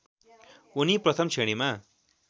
उनी प्रथम श्रेणीमा